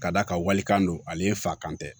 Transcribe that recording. Ka d'a kan walikan don ale fa kan tɛ